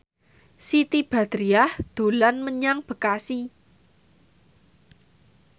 Siti Badriah dolan menyang Bekasi